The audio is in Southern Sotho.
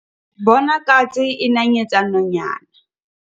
bona katse e nanyetsa nonyana